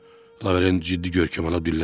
Lavrent ciddi görkəm aldı, dilləndi.